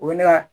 O ye ne ka